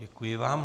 Děkuji vám.